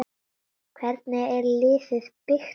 Hvernig er liðið byggt upp?